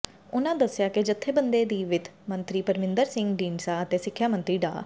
ਉਨ੍ਹਾਂ ਦੱਸਿਆ ਕਿ ਜਥੇਬੰਦੀ ਦੀਆਂ ਵਿੱਤ ਮੰਤਰੀ ਪਰਮਿੰਦਰ ਸਿੰਘ ਢੀਂਡਸਾ ਅਤੇ ਸਿੱਖਿਆ ਮੰਤਰੀ ਡਾ